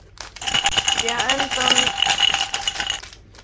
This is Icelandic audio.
Ekki endanlegur eða algildur en minn.